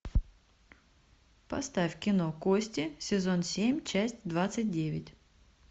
поставь кино кости сезон семь часть двадцать девять